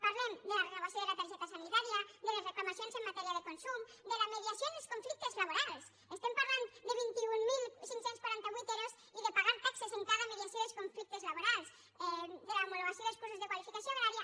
parlem de la renovació de la targeta sanitària de les reclamacions en matèria de consum de la mediació en els conflictes laborals estem parlant de vint mil cinc cents i quaranta vuit ero i de pagar taxes en la mediació dels conflictes labo rals de l’homologació dels cursos de qualificació agrària